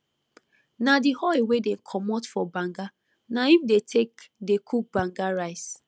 na the oil wey dem comot for banga na im dey take dey cook banga rice